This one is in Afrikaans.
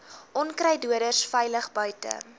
onkruiddoders veilig buite